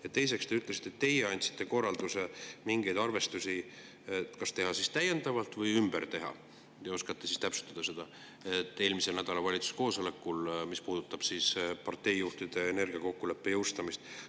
Ja teiseks, te ütlesite, et teie andsite eelmisel nädalal valitsuse koosolekul, mis puudutas parteijuhtide energiakokkuleppe jõustamist, korralduse mingeid arvestusi kas täiendavalt teha või ümber teha – te oskate siis täpsustada seda.